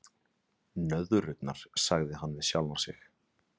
Nöðrurnar, sagði hann við sjálfan sig.